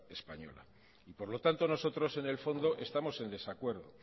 española y por lo tanto nosotros en el fondo estamos en desacuerdo